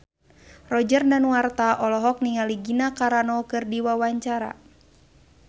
Roger Danuarta olohok ningali Gina Carano keur diwawancara